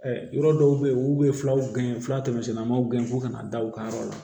yɔrɔ dɔw bɛ yen olu bɛ fulaw gɛn fula tɛmɛnen ma gɛn fo ka na da u ka yɔrɔ la